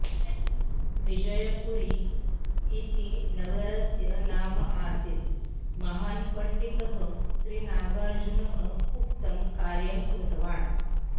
विजयपुरी इति नगरस्य नाम आसीत् महान्पण्डितः श्रीनागार्जुनः उक्तमं कार्यं कृतवान्